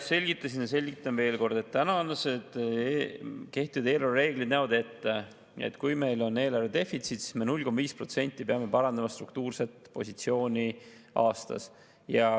Selgitasin ja selgitan veel kord: kehtivad eelarvereeglid näevad ette, et kui meil on eelarvedefitsiit, siis me peame struktuurset positsiooni parandama 0,5% aastas.